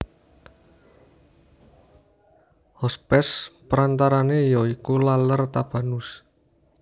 Hospes perantarane ya iku Laler Tabanus